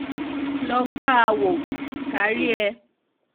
lọ gbà á wò ká rí ẹ